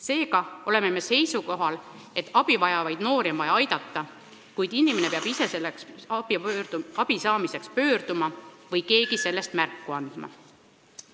Seega oleme seisukohal, et abi vajavaid noori on vaja aidata, kuid inimene peab ise abi saamiseks pöörduma või keegi hädas olemisest märku andma.